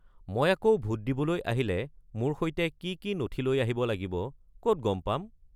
মই আকৌ ভোট দিবলৈ আহিলে মোৰ সৈতে কি কি নথি লৈ আহিব লাগিব ক'ত গম পাম?